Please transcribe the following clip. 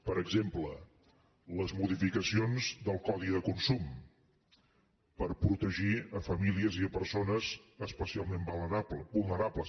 per exemple les modificacions del codi de consum per protegir famílies i persones especialment vulnerables